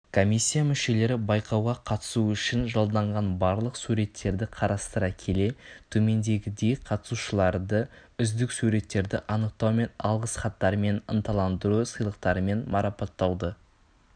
комиссия мүшелері байқауға қатысу үшін жолданған барлық суреттерді қарастыра келе төмендегідей қатысушыларды үздік суреттерді анықтау мен алғыс хаттармен ынталандыру сыйлықтарымен марапаттауды